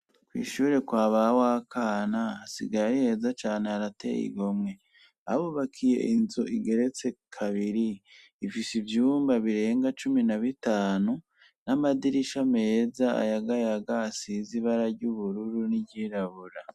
Kw'ishure kwa ba Wakana hasigaye ari heza cane harateye igomwe. Babubakiye inzu igeretse kabiri, ifise ivyumba birenga cumi na bitanu, n'amadirisha meza ayagayaga asize ibara ry'ubururu n'iryirabura.